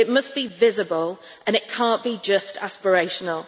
It must be visible and it cannot just be aspirational.